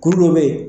Kuru dɔ be yen